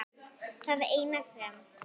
Það eina sem